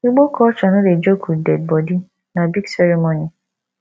igbo culture no dey joke with dead body na big ceremony